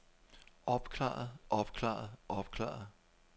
opklaret opklaret opklaret